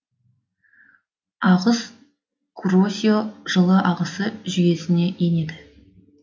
ағыс куросио жылы ағысы жүйесіне енеді